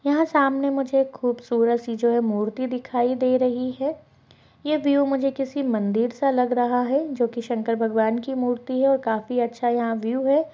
यहाँ सामने मुझे एक खूबसूरत सी जो है मूर्ति दिखाई दे रही है ये व्यू मुझे किसी मंदिर सा लग रहा है जोकि शंकर भगवान की मूर्ति है और काफी अच्छा यहाँ व्यू हैं।